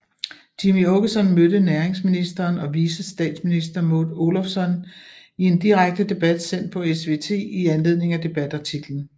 Jimmie Åkesson mødte næringsministeren og vicestatsminister Maud Olofsson i en direkte sendt debat på SVT i anledning af debatartiklen